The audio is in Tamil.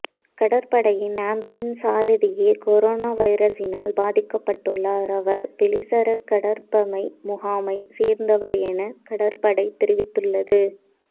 கடற்படையின் அம்புலன்ஸ் சாரதியே கொரோனா வைரசினால் பாதிக்கப்பட்டுள்ளார் அவர் வெலிசர கடற்பமை முகாமை சேர்ந்தவர் என கடற்படை தெரிவித்துள்ளது